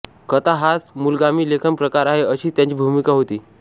कथा हाच मूलगामी लेखन प्रकार आहे अशीच त्यांची भूमिका होती